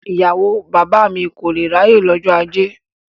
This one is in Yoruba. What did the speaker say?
Ìyàwó bàbá mi kò lé ráyè lọ́jọ́ ajé.